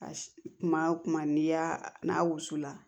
A kuma o kuma n'i y'a n'a wusula